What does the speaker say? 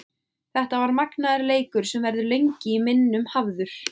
Þetta var magnaður leikur sem verður lengi í minnum hafður.